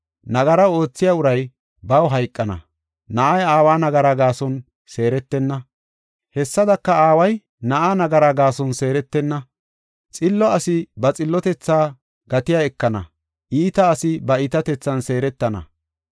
Nagara oothiya uray baw hayqana. Na7ay aawa nagaraa gaason seeretenna; hessadaka, aaway na7aa nagaraa gaason seeretenna. Xillo asi ba xillotethaa gatiya ekana; iita asi ba iitatethan seeretana.